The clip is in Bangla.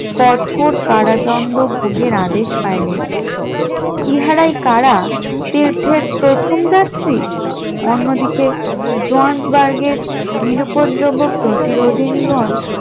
কঠোর কারাদণ্ড ভোগের আদেশ পাইলেন, ইহারাই কারা তীর্থের প্রথম যাত্রী অন্যদিকে জোহান্সবার্গের নিরুউপদ্রব প্রতিরোধিনি গন